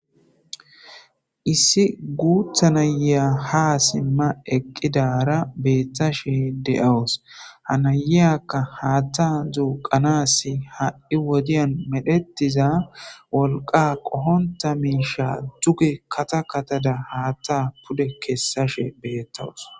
issi guutha naya ha simma eqqidara beetthashe de7awus hanayayakka haatta zuuqanasi ha7i wodiyan medhetiza wolqa qohonta miisha duge kata katada haatta pude kessashe beettawus